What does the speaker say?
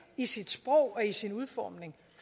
i sit sprog og i sin udformning